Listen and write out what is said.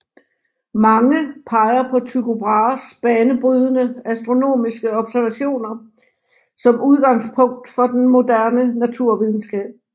Mange peger på Tycho Brahes banebrydende astronomiske observationer som udgangspunktet for den moderne naturvidenskab